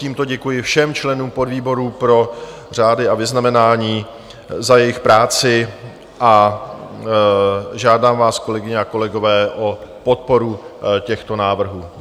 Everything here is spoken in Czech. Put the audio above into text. Tímto děkuji všem členům podvýborů pro řády a vyznamenání za jejich práci a žádám vás, kolegyně a kolegové, o podporu těchto návrhů.